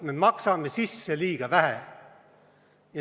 Me maksame sisse liiga vähe.